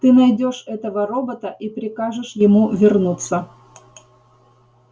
ты найдёшь этого робота и прикажешь ему вернуться